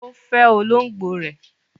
Ó fẹ olóngbò ẹ̀.